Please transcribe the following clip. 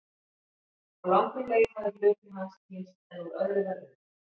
Á langri leið hafði hluti hans týnst en úr öðru var unnið.